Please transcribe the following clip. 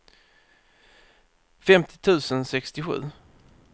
femtio tusen sextiosju